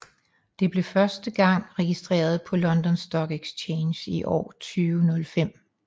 Det blev for første gang registreret på London Stock Exchange i år 2005